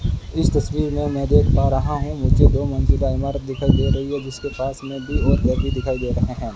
इस तस्वीर में मैं देख पा रहा हूं मुझे दो मंजिला इमारत दिखाई दे रही है जिसके पास में भी दिखाई दे रहे हैं।